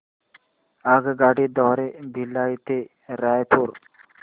आगगाडी द्वारे भिलाई ते रायपुर